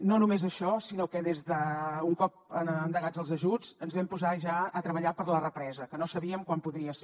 no només això sinó que un cop endegats els ajuts ens vam posar ja a treballar per a la represa que no sabíem quan podria ser